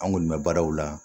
An kɔni bɛ baaraw la